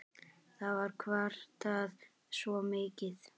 Það var kvartað svo mikið.